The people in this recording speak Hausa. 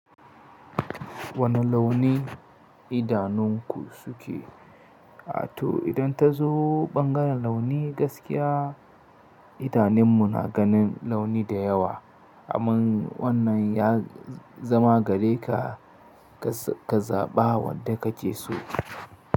Wane launi idanunku suke? To idan ta zo bangaren launi gaskiya idanun mu na ganin launi da yawa. Amman wannan ya zama gare ka, ka zaɓa wanda kake so.